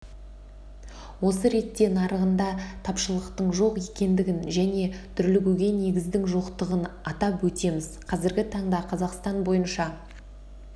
осы ретте нарығында тапшылықтың жоқ екендігін және дүрлігуге негіздің жоқтығын атап өтеміз қазіргі таңда қазақстан бойынша